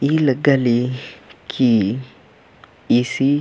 ई लग्गा ले कि ईसी --